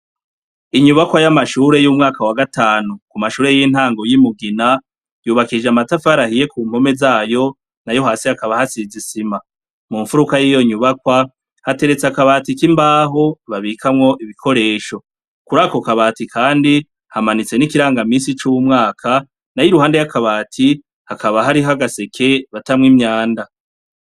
Inyubakwa yamashure yo mu mwaka wa gatanu ku mashure yintango yi Mugina yubakishije amatafari ahiye kumpome zayo nayo hasi hakaba hasize isima mumfuruka yizo nyubakwa hateretse akabati kimbaho babikamwo ibikoresho, kurako kabati kandi hamanitse n'ikiranga minsi cumwaka, nayo iruhande yakabati hakaba hariho agaseke batamwo imyanda.